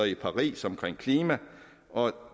i paris om klima